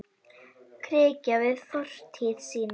Grikkja við fortíð sína.